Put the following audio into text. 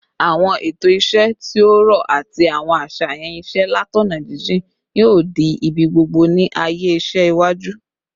Awọn eto iṣẹ ti o rọ ati awọn aṣayan iṣẹ latọna jijin yoo di ibigbogbo ni aaye iṣẹ iwaju